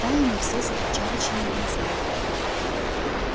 стаями все с овчарочьими глазами